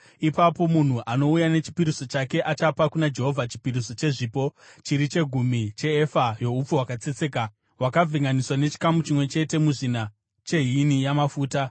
ipapo munhu anouya nechipiriso chake achapa kuna Jehovha chipiriso chezvipo chiri chegumi cheefa youpfu hwakatsetseka hwakavhenganiswa nechikamu chimwe chete muzvina chehini yamafuta.